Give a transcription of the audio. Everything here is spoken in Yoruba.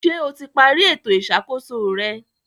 Ṣé o ti parí ètò ìṣàkóso rẹ?